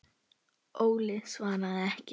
Óli svaraði ekki.